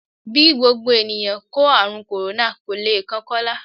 Bí gbogbo ènìyàn kó ààrùn kòrónà, kò le kan Kọ́lá